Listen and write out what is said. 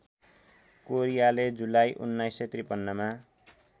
कोरियाले जुलाई १९५३ मा